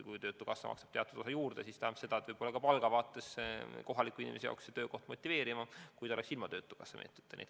Kui töötukassa maksab teatud osa juurde, siis tähendab see seda, et palga seisukohalt on see töökoht kohaliku inimese jaoks motiveerivam kui ilma selle töötukassa meetodita.